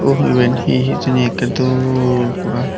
oh iben hi hijeni ekkey dol pura.